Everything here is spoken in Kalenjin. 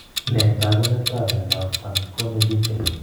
Nee taakuneetab myondap fanconi Bickel?